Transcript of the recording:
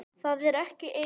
Það er ekki eins.